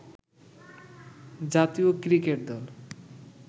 জাতীয় ক্রিকেট দল